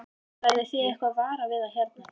Verðið þið eitthvað varar við það hér?